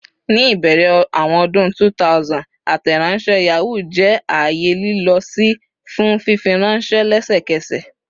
Ni ibẹrẹ awọn ọdun 2000, Ateronshe Yahoo jẹ aaye lilọ-si fun fifiranṣẹ lẹsẹkẹsẹ.